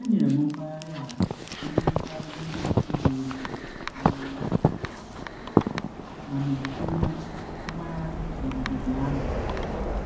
Enyere m mpaghara abụọ n'ime mpaghara ndị a ije ozi: um Uropu na Mediterenian mpaghara Mediterenianu.